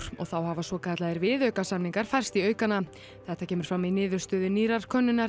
og þá hafa svokallaðir viðaukasamningar færst í aukana þetta kemur fram í niðurstöðum nýrrar könnunar